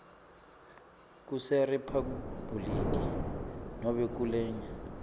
kuseriphabhuliki nobe kulenye